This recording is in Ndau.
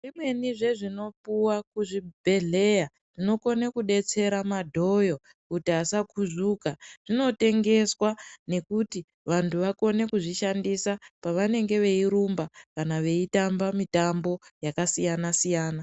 Zvimweni zvezvinopuwa kuzvibhehleya zvinokone kudetsera madhoyo kuti asakuzvuka zvinotengeswa nekuti vantu vakone kuzvishandisa pavanenge veyirumba kana veyitamba mitambo yakasiyana siyana.